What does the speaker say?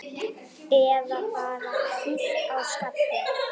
Eða bara kýlt á skalla!